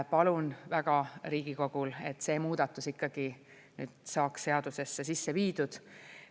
Palun väga Riigikogul, et see muudatus ikkagi nüüd saaks seadusesse sisse viidud.